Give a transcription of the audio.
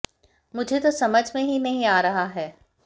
मुझे तो समझ में ही नहीं आ रहा है